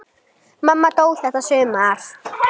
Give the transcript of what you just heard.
Hrædd við að þær hverfi.